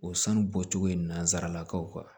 O sanu bɔcogo in na nansaralakaw kan